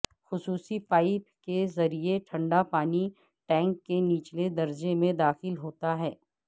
خصوصی پائپ کے ذریعے ٹھنڈا پانی ٹینک کے نچلے درجے میں داخل ہوتا ہے